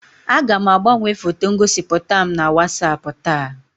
Aga m agbanwe foto ngosipụta m na WatsAapụ taa.